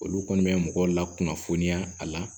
Olu kɔni bɛ mɔgɔw lakunnafoniya a la